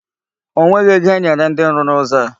O nweghị ego enyere ndị rụrụ ụzọ a.